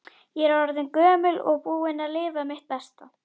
Ég er orðin gömul og búin að lifa mitt besta.